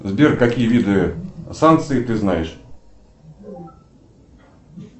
сбер какие виды санкций ты знаешь